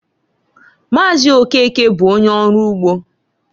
Maazi Okeke bụ onye ọrụ ugbo.